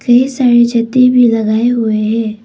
ढेर सारे जत्ती भी लगाए हुए है।